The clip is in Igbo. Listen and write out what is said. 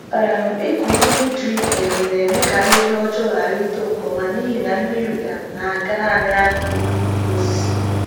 um Ịkụ mmiri drip um na-eme ka ahịhịa ọjọọ ghara ịtoo nke ọma n’ihi na mmiri um na-aga naanị n’akụkụ mgbọrọgwụ osisi.